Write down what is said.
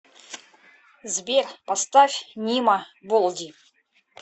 сбер поставь нима болди